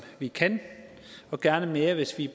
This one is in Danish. vi kan og gerne mere hvis vi